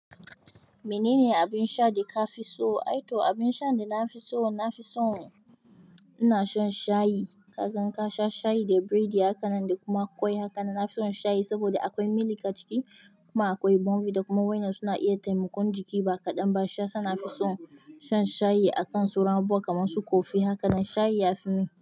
Menene abin sha da ka fi so? Aito abin sha da na fi so, na fi so ina shan shayi. Kaga in ka sha shayi da biredi haka nan da kuma ƙwai haka nan. Na fi son shayi saboda akwai milk a ciki kuma akwai bonvi da kuma waina. Suna iya taimakon jiki ba kaɗan. Ba sha, suna fi so shan shayi akan sawran ruwa kamar su kofi haka nan. Shayi ya fi mun.